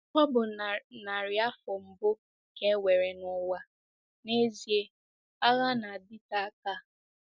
Ọ bụ narị afọ mbụ ka e nwere n'ụwa n'ezie - agha na-adịte aka.